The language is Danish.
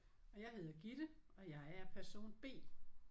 Og jeg hedder Gitte og jeg er person B